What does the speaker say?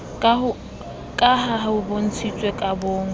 ka ha ho bontshitswe kabong